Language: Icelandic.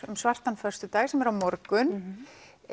um svartan föstudag sem er á morgun